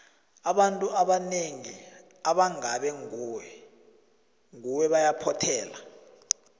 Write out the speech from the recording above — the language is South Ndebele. abantu abanengi abangabe ngube ngubo bayaphothela